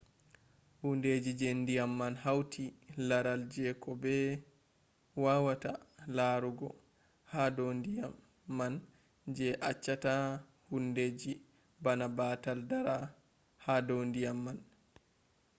hundeji je ndiyam man hauti laral jeko be wawata larugo ha do ndiyam man je achchata hundeji bana batal dara hado ndiyam man